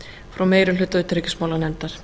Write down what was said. frá meiri hluta utanríkismálanefndar